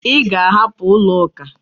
Ị ga-ahapụ ụlọuka?